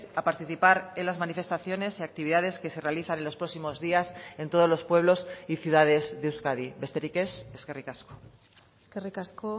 a participar en las manifestaciones y actividades que se realizan en los próximos días en todos los pueblos y ciudades de euskadi besterik ez eskerrik asko eskerrik asko